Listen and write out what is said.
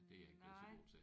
Nej